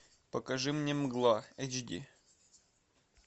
покажи мне мгла эйч ди